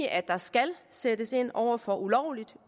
at der skal sættes ind over for ulovligt